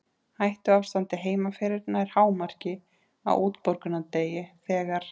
Hættuástandið heima fyrir nær hámarki á útborgunardegi þegar